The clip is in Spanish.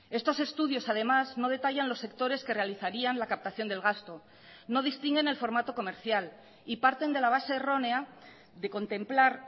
estos estudios además no detallan los sectores que realizarían la captación del gasto no distinguen el formato comercial y parten de la base errónea de contemplar